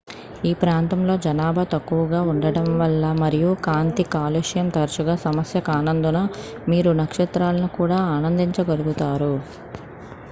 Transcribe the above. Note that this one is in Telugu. ఈ ప్రాంతాలలో జనాభా తక్కువగా ఉండటం వల్ల మరియు కాంతి కాలుష్యం తరచుగా సమస్య కానందున మీరు నక్షత్రాలను కూడా ఆనందించగలుగుతారు